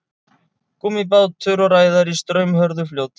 Gúmmíbátur og ræðari í straumhörðu fljóti.